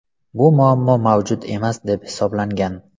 Bu muammo mavjud emas deb hisoblangan.